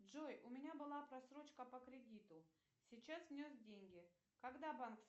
джой у меня была просрочка по кредиту сейчас внес деньги когда банк